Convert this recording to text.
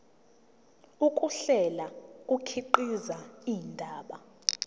ukuhlela kukhiqiza indaba